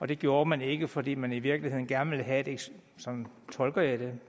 det gjorde man ikke fordi man i virkeligheden gerne ville have sådan tolker jeg det